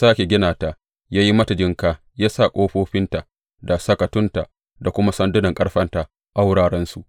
Ya sāke gina ta, ya yi mata jinƙa yana sa ƙofofinta, da sakatunta, da kuma sandunan ƙarfenta a wurarensu.